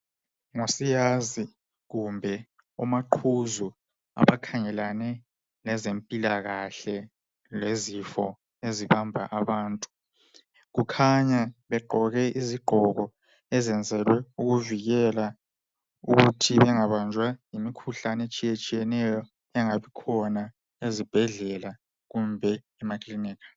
ngo siyazi kumbe omagquzu abakhangelane lezempikahle lezifo ezibamba abantu kukhanya begqoke izigqoko ezenzelwe ukuvikela ukuthi bengabanjwa yimikhuhlane etshiyetshiyeneyo engabe ikhona ezibhedlela kumbe emakilinika